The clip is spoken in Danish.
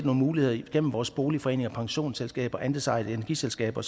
muligheder igennem vores boligforeninger og pensionsselskaber og andelsejede energiselskaber